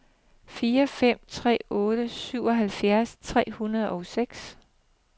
fire fem tre otte syvoghalvfjerds tre hundrede og seks